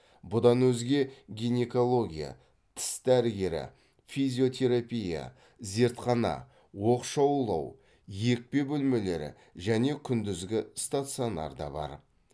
бұдан өзге гинекология тіс дәрігері физиотерапия зертхана оқшаулау екпе бөлмелері және күндізгі стационар да бар